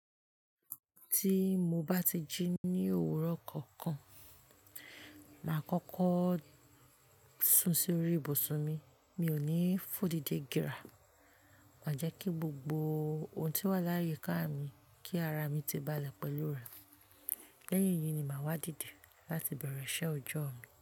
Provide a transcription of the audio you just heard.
Tí mo bá ti jí ní òwúrọ̀ kankan, máa kọ́kọ́ sún sí orí ibùsùn mi, mi ò ní fò dídé gira, màá jẹ́ kí gbogbo ohun tí wà láyé ká mi, kí ara mi ti balẹ̀ pẹ̀lú rẹ̀. Lẹ́yìn yìí ni màá wá dìde láti bẹ̀rẹ̀ iṣẹ́ ọjọ́ mi.